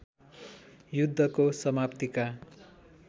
युद्धको समाप्तिका